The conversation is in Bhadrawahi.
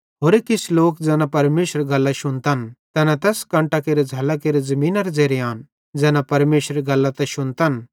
होरे किछ लोक ज़ैना परमेशरेरी गल्लां शुन्तन तैना तैस कंटां केरे झ़ैल्लां केरे ज़मीनेरे ज़ेरे आन तैना परमेशरेरी गल्लां त शुन्तन